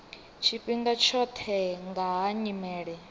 tshifhinga tshoṱhe nga ha nyimele